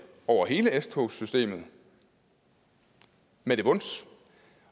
over hele s togssystemet med det vons